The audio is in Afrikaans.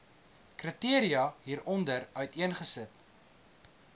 kriteria hieronder uiteengesit